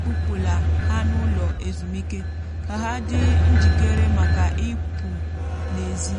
kpụpụla ha n’ụlọ ezumike ka ha dị njikere maka ipụ́ n’èzí.